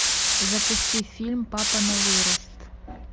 запусти фильм папа на вырост